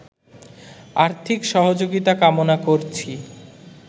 আর্থিক সহযোগিতা কামনা করছি